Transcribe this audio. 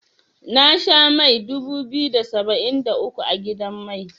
Na sha mai dubu biyu da saba'in da uku a gidan mai.